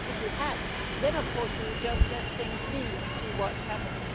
If we had, then of course we would just let things be and see what happens.